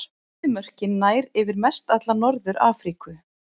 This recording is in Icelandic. Eyðimörkin nær yfir mestalla Norður-Afríku.